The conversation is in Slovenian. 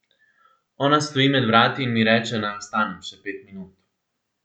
Ona stoji med vrati in mi reče naj ostanem še pet minut.